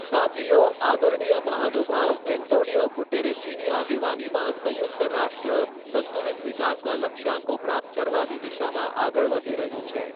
સાથીઓ, આદરણીય મહાનુભવ એન્ટોનિયો ગુટેરેજ઼જીની આગેવાનીમાં સંયુક્ત રાષ્ટ્ર સંતુલિત વિકાસના લક્ષ્યાંકો પ્રાપ્ત કરવાની દિશામાં આગળ વધી રહ્યું છે.